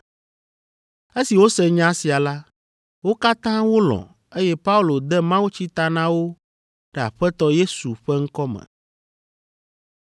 Esi wose nya sia la, wo katã wolɔ̃, eye Paulo de mawutsi ta na wo ɖe Aƒetɔ Yesu ƒe ŋkɔ me.